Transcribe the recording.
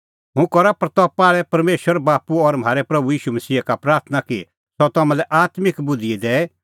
हुंह करा प्रतपा आल़ै परमेशर बाप्पू और म्हारै प्रभू ईशू मसीहा का प्राथणां कि सह तम्हां लै आत्मिक बुधि दैए और समझ़ दैए